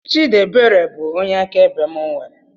Chidiebere bụ onye akaebe mụ nwere